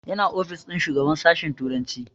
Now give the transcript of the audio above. Yana ofis ɗin shugaban sashen turanci